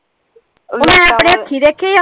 ਮੈਂ ਅਪਨੇ ਹਾਥੀ ਦੇਖੇ ਆ।